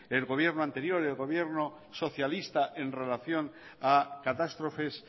el gobierno anterior el gobierno socialista en relación a catástrofes